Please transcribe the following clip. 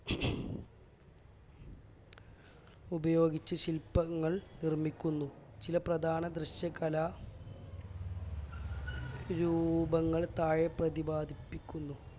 ഉപയോഗിച്ച് ശില്പങ്ങൾ നിർമ്മിക്കുന്നു ചില പ്രധാന ദൃശ്യകലാ രൂപങ്ങൾ താഴെ പ്രതിപാദിക്കുന്നു